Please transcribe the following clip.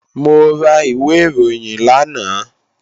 Mo ra ìwé ìròyìn lánàá